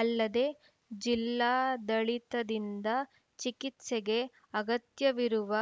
ಅಲ್ಲದೆ ಜಿಲ್ಲಾಡಳಿತದಿಂದ ಚಿಕಿತ್ಸೆಗೆ ಅಗತ್ಯವಿರುವ